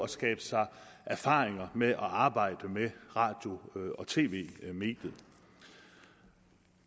skabe sig erfaringer med at arbejde med radio og tv mediet